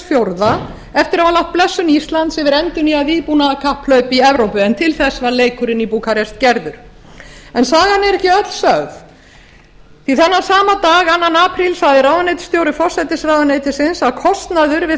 fjórða eftir að hafa lagt blessun íslands yfir endurnýjað vígbúnaðarkapphlaup í evrópu en til þess var leikurinn í búkarest gerður sagan er ekki öll sögð því að þennan sama dag annan apríl sagði ráðuneytisstjóri forsætisráðuneytisins að kostnaður við